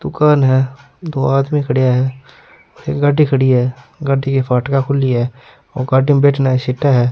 दुकान है दो आदमी खड़े है एक गाड़ी खड़ी है गाड़ी के फाटका खुली है और गाड़ी में बैठेने आरी सीटे है।